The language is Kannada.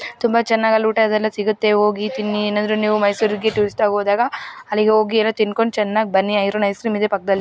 ತುಂಬಾ ಚೆನ್ನಾಗಿ ಅಲ್ಲಿ ಊಟ ಇದೆಲ್ಲ ಸಿಗುತ್ತೆ ತಿನ್ನಿ ಹೋಗಿ ಏನಾದ್ರೂ ನೀವು ಮೈಸೂರಿಗೆ ಟ್ಯೂಸ್ಡೇ ಹೋದಾಗ ಅಲ್ಲಿ ಹೋಗಿ ಏನಾದರೂ ತಿಂದುಕೊಂಡು ಚೆನ್ನಾಗಿ ಬನ್ನಿ ಅರುಣ್ ಐಸ್ ಕ್ರೀಮ್ ಇದೆ ಪಕ್ಕದಲ್ಲಿ --